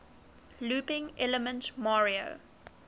looping elements mario